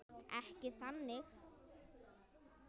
Ekki þannig.